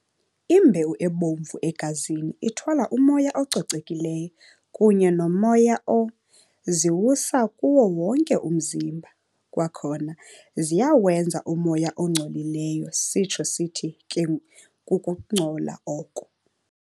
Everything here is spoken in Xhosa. Imbewu ebomvu egazini ithwala umoya ococekileyo kunye nomoya o- ziwusa kuwo wonke umzimba. Kwakhona ziyawenza umoya ongcolileyo sitsho sithi ke kukungcola oko.